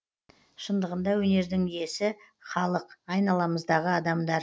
шындығында өнердің иесі халық айналамыздағы адамдар